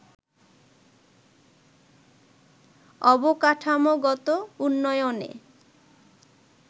অবকাঠামোগত উন্নয়নে